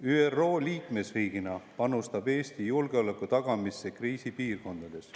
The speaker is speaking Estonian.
ÜRO liikmesriigina panustab Eesti julgeoleku tagamisse kriisipiirkondades.